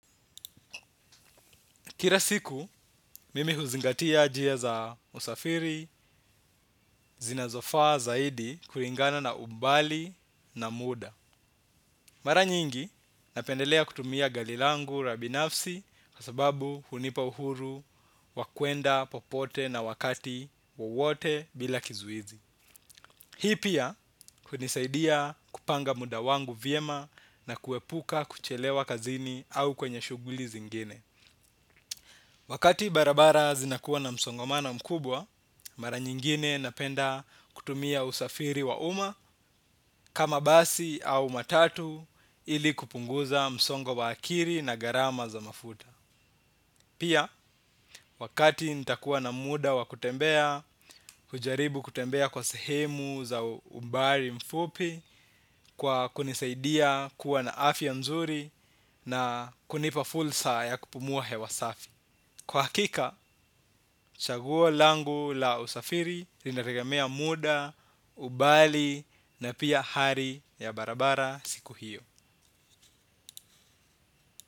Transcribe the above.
Kila siku, mimi huzingatia njia za usafiri zinazofaa zaidi, kulingana na umbali na muda. Mara nyingi, napendelea kutumia gari langu la kibinafsi kwa sababu hunipa uhuru wa kuenda popote na wakati wowote bila kizuizi. Hii pia, hunisaidia kupanga muda wangu vyema na kuepuka kuchelewa kazini au kwenye shughuli zingine. Wakati barabara zinakuwa na msongomano mkubwa, mara nyingine napenda kutumia usafiri wa umma kama basi au matatu ili kupunguza msongo wa akili na gharama za mafuta. Pia, wakati nitakuwa na muda wa kutembea, kujaribu kutembea kwa sehemu za umbali mfupi, kwa kunisaidia kuwa na afya nzuri na kunipa fursa ya kupumuwa hewa safi. Kwa hakika, chaguo langu la usafiri litategemea muda, umbali na pia hali ya barabara siku hiyo.